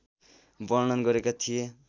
वर्णन गरेका थिए